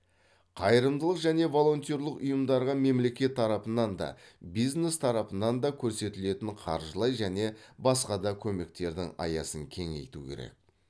қайырымдылық және волонтерлік ұйымдарға мемлекет тарапынан да бизнес тарапынан да көрсетілетін қаржылай және басқа да көмектердің аясын кеңейту керек